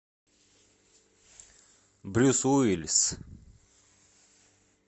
брюс уиллис